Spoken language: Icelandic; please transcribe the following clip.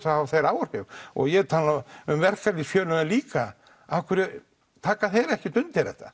þá hafa þeir áhrif og ég tala um verkalýðsfélögin líka af hverju taka þeir ekki undir þetta